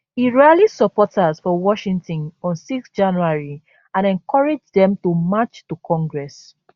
e rally supporters for washington on 6 january and encourage dem to march to congress